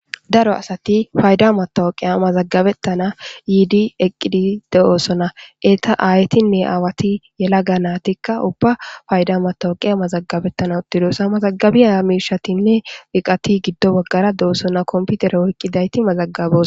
daro asati fayda matowoqiya mazagabettana yiidi eqqidi de7oossona eeta aaytinne aawati yela ga naatikka ubba fayda matowoqiya mazagabettana uttidoosa mazagabiyaa miishatinne wiqati giddo baggara de7osona komputere woyqqidayti mazagabos